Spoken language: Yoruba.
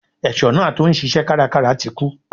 Ẹ̀ṣọ́ náà tí ó ń ṣisẹ́ kárakára ti kú.